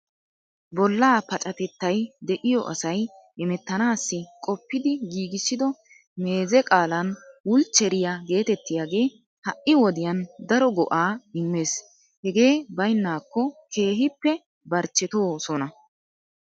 Bollaa pacatettay de'iyo asay hemettanaassi qoppidi giigissido meezee qaalan wulchcheriya geetettiyagee ha"i wodiyan daro go"aa immees. Hegee baynnaakko keehippe barchchetoosona.